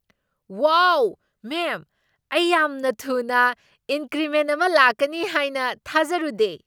ꯋꯥꯎ, ma'am! ꯑꯩ ꯌꯥꯝꯅ ꯊꯨꯅ ꯏꯟꯀ꯭ꯔꯤꯃꯦꯟꯠ ꯑꯃ ꯂꯥꯛꯀꯅꯤ ꯍꯥꯏꯅ ꯊꯥꯖꯔꯨꯗꯦ!